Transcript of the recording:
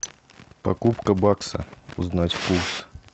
покупка бакса узнать курс